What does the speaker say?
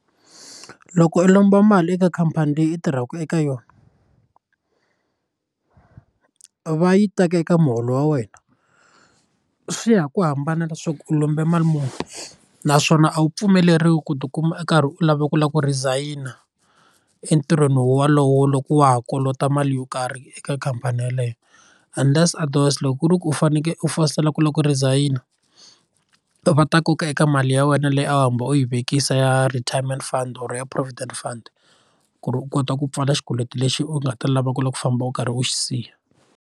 Ku loko u lomba mali eka khampani leyi u tirhaka eka yona va yi teka eka muholo wa wena swi ya ku hambana leswaku u lombe mali muni naswona a wu pfumeleriwi ku tikuma u karhi u lava ku lava ku resign entirhweni wolowo loko wa ha kolota mali yo karhi eka khampani yaleyo unless otherwise loko ku ri ku u fanekele u fositela ku loko resign va ta koka eka mali ya wena leyi a wu hambi u yi vekisa ya retirement fund or ya provident fund ku ri u kota ku pfala xikweleti lexi u nga ta lava ku lava ku famba u karhi u xi siya.